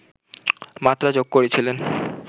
মাত্রা যোগ করেছিলেন